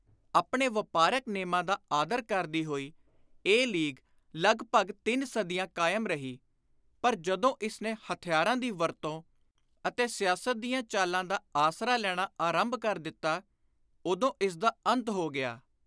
ਆਪਣੇ ਵਾਪਾਰਕ ਨੇਮਾਂ ਦਾ ਆਦਰ ਕਰਦੀ ਹੋਈ ਇਹ ਲੀਗ ਲਗਭਗ ਤਿੰਨ ਸਦੀਆਂ ਕਾਇਮ ਰਹੀ ਪਰ ਜਦੋਂ ਇਸ ਨੇ ਹਥਿਆਰਾਂ ਦੀ ਵਰਤੋਂ ਅਤੇ ਸਿਆਸਤ ਦੀਆਂ ਚਾਲਾਂ ਦਾ ਆਸਰਾ ਲੈਣਾ ਆਰੰਭ ਕਰ ਦਿੱਤਾ, ਉਦੋਂ ਇਸਦਾ ਅੰਤ ਹੋ ਗਿਆ।